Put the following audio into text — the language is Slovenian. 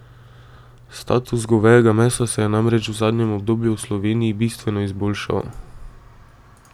Status govejega mesa se je namreč v zadnjem obdobju v Sloveniji bistveno izboljšal.